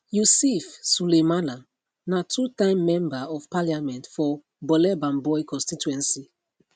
yusif sulemana na two time member of parliament for bole bamboi constituency